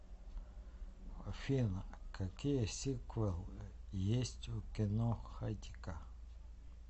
афина какие сиквелы есть у кино хатико